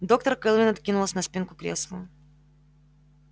доктор кэлвин откинулась на спинку кресла